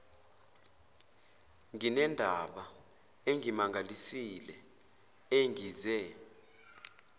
nginendaba engimangalisile engize